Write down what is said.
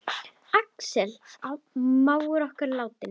Axel mágur okkar er látinn.